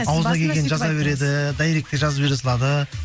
ауызына келгенін жаза береді дайректе жазып жібере салады